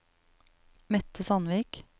Mette Sandvik